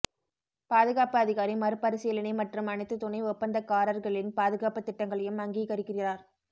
பாதுகாப்பு அதிகாரி மறுபரிசீலனை மற்றும் அனைத்து துணை ஒப்பந்தகாரர்களின் பாதுகாப்பு திட்டங்களையும் அங்கீகரிக்கிறார்